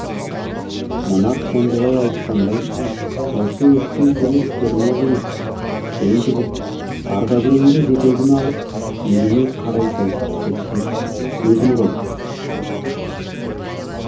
мына қондыбай айтқандай осы өткен түні керме қиып кісен бұзып ардакүреңді жетегіме алып еліме қарай жосытып кетпек едім ғой